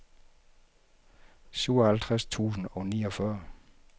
syvoghalvtreds tusind og niogfyrre